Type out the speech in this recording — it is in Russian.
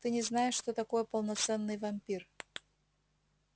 ты не знаешь что такое полноценный вампир